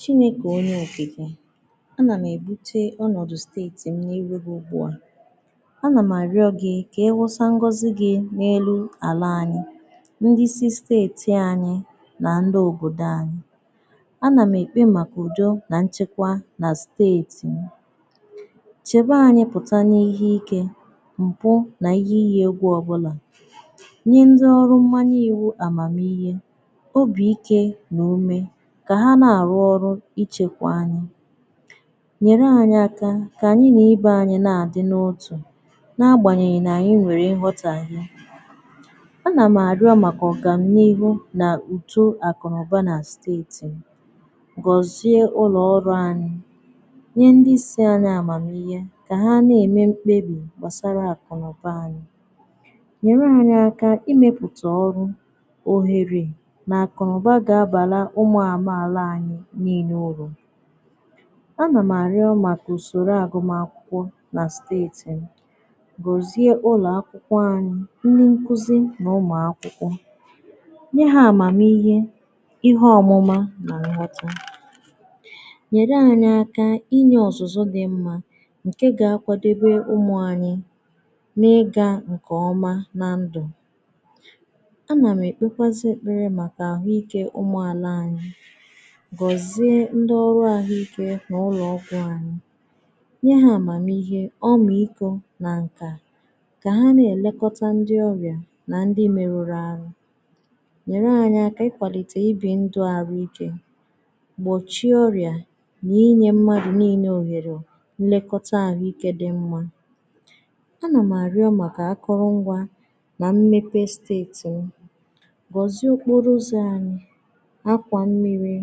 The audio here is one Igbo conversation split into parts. Gịnị̀ bụ̀ onye okikè? A nà m ebutè ọnọdụ̀ steetì m n’irù gì ugbu à a nà m arịọ̀ gị̀ kà ịwụsà ngọzì gì n’elu àlà anyị̀ ndị̀ isi steetì anyị̀ nà ndị̀ òbodò anyị̀ a nà m ekpè màkà udò nà nchekwà nà steetì m chebà anyị̀ pụtà n’ihe ike mpụ̀ n’ihe iyì egwù ọbụlà nyè ndị̀ ọrụ̀ mmanyè iwù amàmihe obi ike n’umè kà hà na-arụ̀ ọrụ̀ ichekwà anyị̀ nyerè anyị̀ aka kà anyị̀ nà ibè anyị̀ na-adị̀ n’otù n’agbànyeghì nà anyị̀ nwerè nghotàhè a nà m arịọ̀ màkà ọga m n’ihu n’udò akụ̀ nà ụbà nà steetì m goziè ụlọ̀ ọrụ̀ anyị̀ nye ndị̀ isi anyị̀ amàmihe kà hà na-emè m̄kpebì gbasarà akụ̀ nà ụbà anyị̀ nyerè anyị̀ aka imepù tà ọrụ̀ oherè akụ̀ nà ụbà ga-abalà ụmụ̀ amà alà anyị̀ niine urù a nà m arịọ̀ màkà usorò agụ̀mà akwụkwọ̀ nà steetì m goziè ụlọ̀ akwụkwọ̀ anyị̀ ndị̀ nkuzì nà ụmụ akwụkwọ̀ anyị̀ nyè hà amàmihè ihe ọmụmà nà nghọtà nyerè anyị̀ inyè ọzụ̀zụ̀ dị̀ mmà nke ga-akwàdebe n’ịgà nkè ọmà nà ndụ̀ a nà m ekpekwazì ekpere màkà ahụ̀ike ụmụ̀ àlà anyị̀ goziè ndị̀ ọrụ̀ ahụ̀ike n’ụlọ̀ ọgwụ̀ anyị̀ nyè hà amàmihe ọmị̀ ikò nà nkà kà hà na-elekotà ndị̀ ọbịà nà ndị̀ merurù arụ̀ nyerè anyị̀ akà ikwalitè ibì ndụ̀ arụ̀ike gbochiè ọrịà n’inyè mmadụ̀ nine oherè nlekotà ahụ̀ike dị̀ mmà a nà m arịọ̀ màkà akụrụ̀ngwà nà mmepè steetì m goziè okporo ụzọ̀ anyị̀ akwà mmiri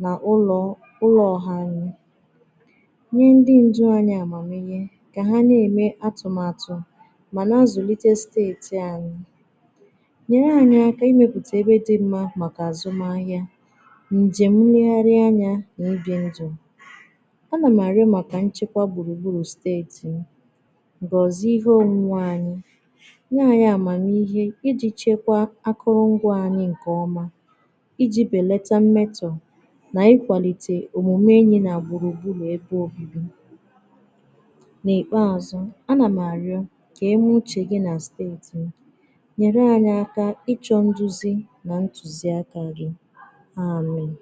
n’ụlọ̀ ụlọ̀ ọhà anyị̀ nyè ndị̀ ndụ̀ anyị̀ amàmihe kà hà na-emè atụ̀màtụ̀ manà azulitè steetì anyị̀ nyerè anyị̀ aka imeputà ebe dị̀ mmà màkà azụmà ahịà nje m nlegharịà anyà n’ibì ndụ̀ a nà m arịọ̀ màkà nchekwà gburùgburù steetì m goziè ihe omùmè anyị̀ nyè anyị̀ amàmihe ijì chekwà akụrụ̀ngwà anyị̀ nkè ọmà ijì belàtà mmetọ̀ n’ikwàlitè omumè enyị̀ nà gburùgburù n’ebe obibì n’ikpeazụ̀ a nà m arịọ̀ kà emè uchè gì nà steetì m nyerè anyị̀ aka ịchọ̀ nduzì nà ntuzì aka gì Aamị̀!